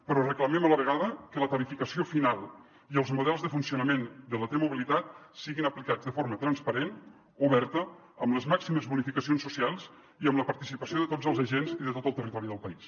però reclamem a la vegada que la tarifació final i els models de funcionament de la t mobilitat siguin aplicats de forma transparent oberta amb les màximes bonificacions socials i amb la participació de tots els agents i de tot el territori del país